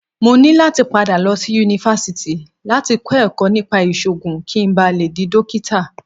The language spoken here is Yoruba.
Mo ní láti padà lọ sí Yunifásítì láti kọ́ ẹ̀kọ́ nípa ìṣògùn kí n ba le dí Dókítà.